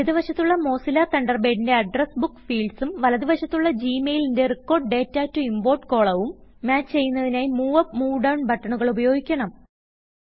ഇടത് വശത്തുള്ള മോസില്ല തണ്ടർബേഡിന്റെ അഡ്രസ് ബുക്ക് fieldsഉം വലത് വശത്തുള്ള ജി മെയിലിന്റെ റെക്കോർഡ് ഡാറ്റ ടോ importകോളവും മാച്ച് ചെയ്യുന്നതിനായി മൂവ് അപ്പ് മൂവ് ഡൌൺ ബട്ടണുകൾ ഉപയോഗിക്കണം